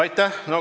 Aitäh!